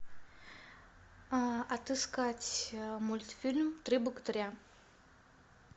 отыскать мультфильм три богатыря